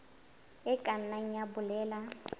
e ka nna ya bolela